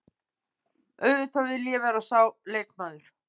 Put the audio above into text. Auðvitað vill ég vera sá leikmaður.